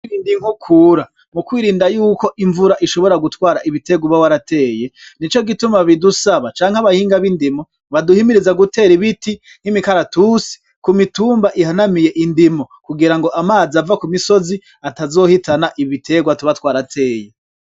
Mukurinda inkukura, mukwirinda yuko imvura ishobora gutwara ibiterwa uba warateye nico gituma bidusaba canke abahinga bindimo baduhimiriza gutera ibiti nk'imikaratusi ku mitumba ihanamiye indimo kugira ngo amazi ava ku misozi atazohitana ibiterwa tuba twarateye.